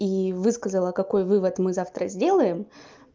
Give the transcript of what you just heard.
и высказала какой вывод мы завтра сделаем